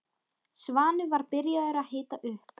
Svanur var byrjaður að hita upp.